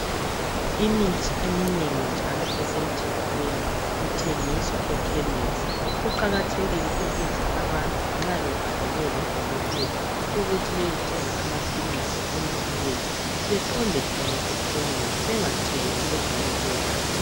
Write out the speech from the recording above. Imithi eminengi njalo esemthethweni ithengiswa ekhemisi . Kuqakathekile ukuthi abantu nxa bebhalelwe ngo Dokotela ukuthi beyethenga amaphilisi kumbe imithi beqonde khona ekhemisi bengathengi kwezinye indawo.